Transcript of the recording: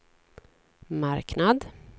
marknad